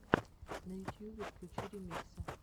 на ютьюбе включи ремиксы